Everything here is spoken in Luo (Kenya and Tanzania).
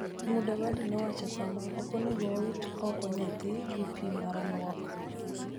Mudavadi nowacho kama: �Ok onego wawit oko nyathino gi pi mar lwok.�